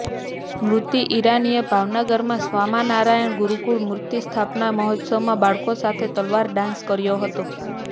સ્મૃતિ ઈરાનીએ ભાવનાગરમાં સ્વામાનારાયણ ગુરૂકુળ મૂર્તિ સ્થાપના મહોત્સવમાં બાળકો સાથે તલવાર ડાન્સ કર્યો હતો